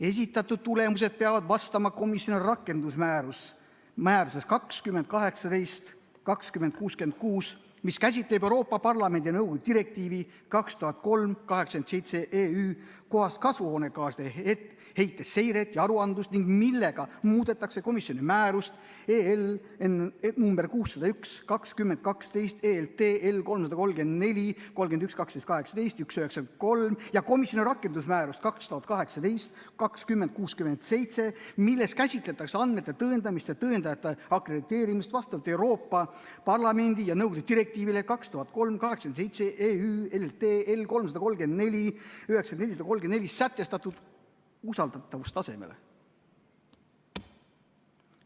esitatud tulemused peavad vastama komisjoni rakendusmääruses 2018/2066, mis käsitleb Euroopa Parlamendi ja nõukogu direktiivi 2003/87/EÜ kohast kasvuhoonegaaside heite seiret ja aruandlust ning millega muudetakse komisjoni määrust nr 601/2012 , ja komisjoni rakendusmääruses 2018/2067, milles käsitletakse andmete tõendamist ja tõendajate akrediteerimist vastavalt Euroopa Parlamendi ja nõukogu direktiivile 2003/87/EÜ , sätestatud usaldatavustasemele;".